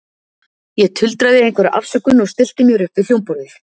Ég tuldraði einhverja afsökun og stillti mér upp við hljómborðið.